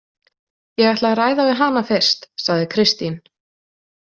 Ég ætla að ræða við hana fyrst, sagði Kristín.